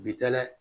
Bi taa dɛ